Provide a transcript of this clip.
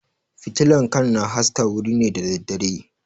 Fitilan kan na haska wuri ne da daddare